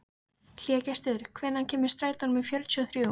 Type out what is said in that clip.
Hlégestur, hvenær kemur strætó númer fjörutíu og þrjú?